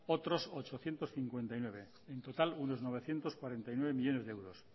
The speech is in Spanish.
otro ochocientos cincuenta y nueve en total uno novecientos cuarenta y nueve millónes de euros